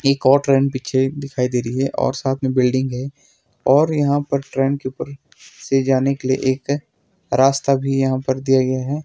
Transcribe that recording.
एक और ट्रेन पीछे दिखाई दे रही है और साथ में बिल्डिंग है और यहां पर ट्रेन के ऊपर से जाने के लिए एक रास्ता भी यहां पर दिया गया है।